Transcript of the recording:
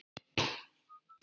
Fínan kagga!